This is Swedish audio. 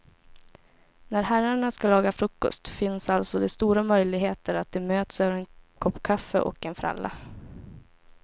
När herrarna ska laga frukost finns alltså det stora möjligheter att de möts över en kopp kaffe och en fralla.